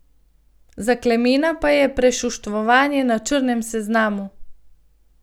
Za Klemena pa je prešuštvovanje na črnem seznamu.